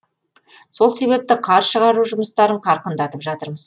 сол себепті қар шығару жұмыстарын қарқындатып жатырмыз